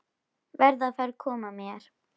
Verð að fara að koma mér.